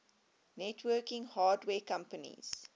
networking hardware companies